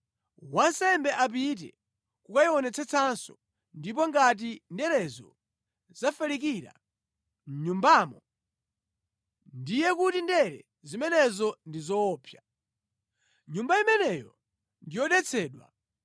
wansembe apite kukayionetsetsenso ndipo ngati nderezo zafalikira mʼnyumbamo, ndiye kuti ndere zimenezo ndi zoopsa. Nyumba imeneyo ndi yodetsedwa.